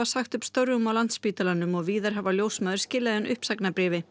sagt upp störfum á Landspítalanum og víðar hafa ljósmæður skilað inn uppsagnarbréfi